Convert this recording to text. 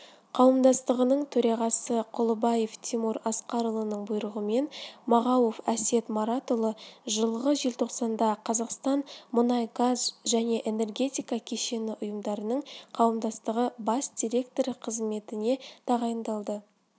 қауымдастығының төрағасы құлыбаев тимур асқарұлының бұйрығымен мағауов әсет маратұлы жылғы желтоқсанда қазақстан мұнай-газ және энергетика кешені ұйымдарының қауымдастығы бас директоры қызметінетағайындалды